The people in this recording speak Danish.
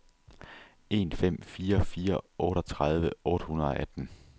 en fem fire fire otteogtredive otte hundrede og atten